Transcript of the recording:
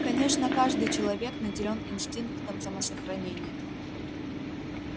конечно каждый человек наделен инстинктом самосохранения